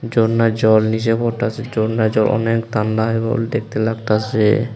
ঝরনার জল নীচে পড়তাসে ঝরনার জল অনেক তান্দা এবং দেখতে লাগতাসে।